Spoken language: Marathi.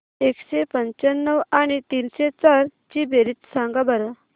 एकशे पंच्याण्णव आणि तीनशे चार ची बेरीज सांगा बरं